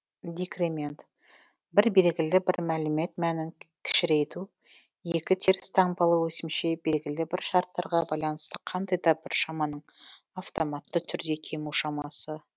декремент бір белгілі бір мәлімет мәнін кішірейту екі теріс таңбалы өсімше белгілі бір шарттарға байланысты қандай да бір шаманың автоматты түрде кему шамасы